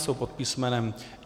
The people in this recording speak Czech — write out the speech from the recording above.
Jsou pod písm.